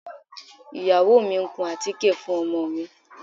Ìyàwó mi ń kun àtíkè fún ọmọ mi